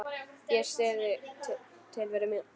Ég syrgði tilveru mína.